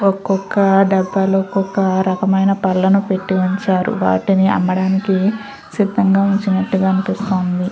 ఒక్కొక్క డబ్బాలో ఒక్కొక్క రకమైన బల్ల ను పెట్టి ఉంచారు. వాటిని అమ్మడానికి సిద్దంగా ఉంచినట్టుగ అనిపిస్తుంది.